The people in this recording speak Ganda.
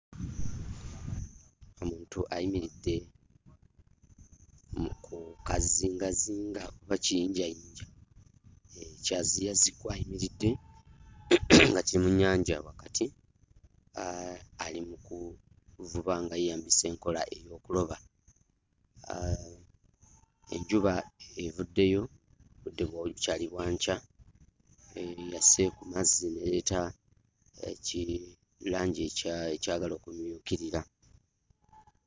Omuntu ayimiridde mu ku kazingazinga oba ku kiyinjayinja, ekyaziyazi kw'ayimiridde nga kiri mu nnyanja wakati. Ali mu kuvuba nga yeeyambisa enkola ey'okuloba. Enjuba evuddeyo, obudde bukyali bwa nkya. Eyase ku mazzi n'ereeta kirangi ekyagala okumyukirira.